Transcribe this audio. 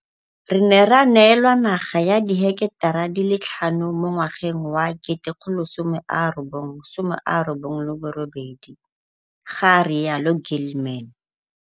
Re ne ra neelwa naga ya diheketara di le tlhano mo ngwageng wa 1998, ga rialo Gilman.